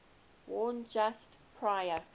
worn just prior